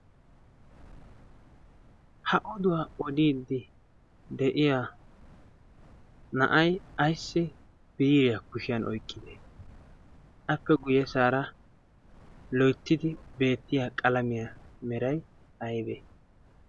ha oduwaa odiiddi de'iya na'ay ayssi biiriyaa kushiyan oyqqide? appe guyye saara loittidi beettiya qalamiyaa meray aybe?